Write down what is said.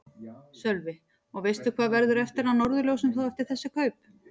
Sölvi: Og veistu hvað verður eftir af Norðurljósum þá eftir þessi kaup?